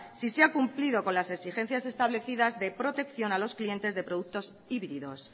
si se ha cumplido con las exigencias establecidas de protección a los clientes de productos híbridos